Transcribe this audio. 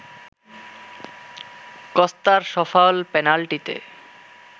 কস্তার সফল পেনাল্টিতে